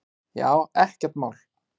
Já, ekkert mál!